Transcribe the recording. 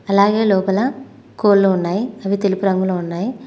అలాగే లోపల కోళ్ళు ఉన్నాయి అవి తెలుపు రంగులో ఉన్నాయ్.